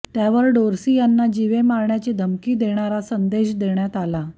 त्यावर डोर्सी यांना जिवे मारण्याची धमकी देणारा संदेश देण्यात आलीय